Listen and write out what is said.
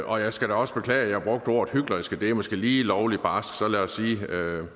jeg skal da også beklage at jeg brugte ordet hyklerisk det er måske lige lovlig barsk så lad os sige